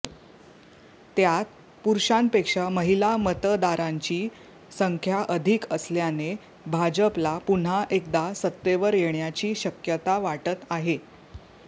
त्यात पुरुषांपेक्षा महिला मतदारांची संख्या अधिक असल्याने भाजपला पुन्हा एकदा सत्तेवर येण्याची शक्यता वाटत आहे